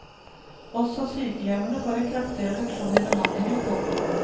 Også sykehjemmene får en kraftig reduksjon i bemanningen. punktum